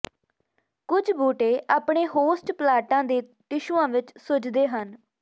ਕੁੱਝ ਬੂਟੇ ਆਪਣੇ ਹੋਸਟ ਪਲਾਂਟਾਂ ਦੇ ਟਿਸ਼ੂਆਂ ਵਿੱਚ ਸੁੱਜਦੇ ਹਨ